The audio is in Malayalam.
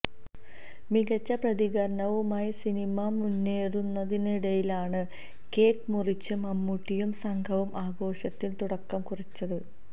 മികച്ച പ്രതികരണവുമായി സിനിമ മുന്നേറുന്നതിനിടയിലാണ് കേക്ക് മുറിച്ച് മമ്മൂട്ടിയും സംഘവും ആഘോഷത്തിന് തുടക്കം കുറിച്ചത്